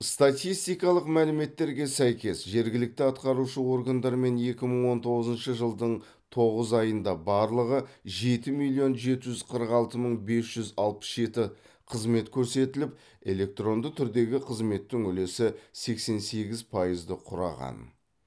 статистикалық мәліметтерге сәйкес жергілікті атқарушы органдармен екі мың он тоғызыншы жылдың тоғыз айында барлығы жеті миллион жеті жүз қырық алты мың бес жүз алпыс жеті қызмет көрсетіліп электронды түрдегі қызметтің үлесі сексен сегіз пайызды құраған